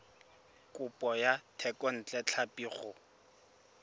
kopo ya thekontle tlhapi go